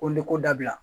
Ko leko dabila